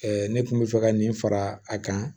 ne kun bɛ fɛ ka nin fara a kan